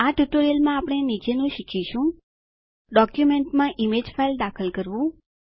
આ ટ્યુટોરીયલમાં આપણે નીચેનું શીખીશું160 ડોક્યુંમેંટમાં ઈમેજ ફાઈલ દાખલ કરવું